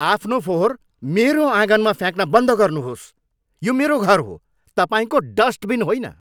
आफ्नो फोहोर मेरो आँगनमा फ्याँक्न बन्द गर्नुहोस्। यो मेरो घर हो, तपाईँको डस्टबिन होइन!